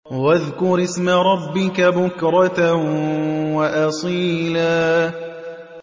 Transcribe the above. وَاذْكُرِ اسْمَ رَبِّكَ بُكْرَةً وَأَصِيلًا